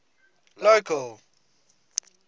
local